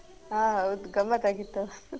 ಆ ಹೌದು ಗಮತ್ತ್ ಆಗಿತ್ತು